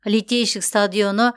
литейщик стадионы